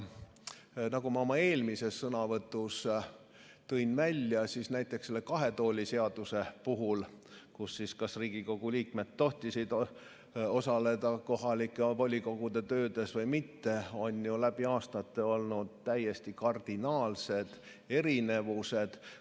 Nagu ma oma eelmises sõnavõtus välja tõin, näiteks selle kahe tooli seaduse puhul, st kas Riigikogu liikmed tohivad osaleda kohalike volikogude töös või mitte, on läbi aastate olnud täiesti kardinaalsed erinevused.